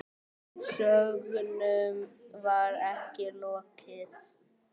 En sögnum var ekki lokið.